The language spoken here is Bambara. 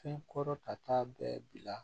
Fɛn kɔrɔ ta bɛɛ bila